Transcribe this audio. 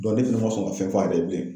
ne fɛnɛ ma sɔn ka fɛn f'ale ye bilen.